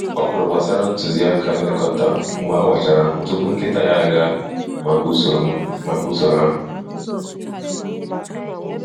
Ọ gụrụ gbasara ntuziaka nlekọta mgbe awachara ahụ tupu nkịta ya agaa maka usoro maka usoro ahụ.